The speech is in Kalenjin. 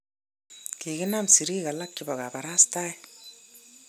kikinam serik alak chebo kabarastae